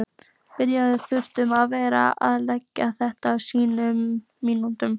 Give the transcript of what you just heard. Brynja: Þurftirðu að vera að laga þetta á síðustu mínútunum?